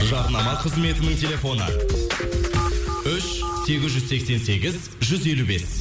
жарнама қызметінің телефоны үш сегіз жүз сексен сегіз жүз елу бес